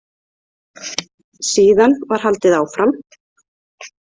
Síðan var haldið áfram.